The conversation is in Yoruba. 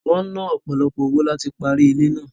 Wọ́n ná ọ̀pọ̀lọpọ̀ owó láti parí ilé náà